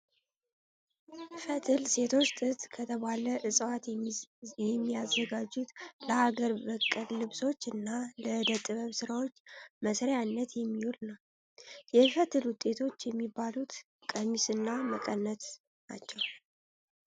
ፈትል ሴቶች ጥጥ ከተባለ እፅዋት የሚያዘጋጁት ለሀገር በቀል ልብሶች እና ለእደ ጥበብ ስራዎች መስሪያነት የሚውል ነው። የፈትል ውጤቶች የሚባሉት ቀሚስ እና መቀነት ናቸው።